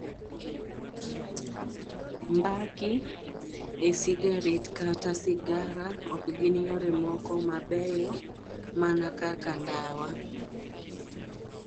Mbaki, e cigarettes kata cigars ok gin yore moko mabeyo mana kaka ndawa.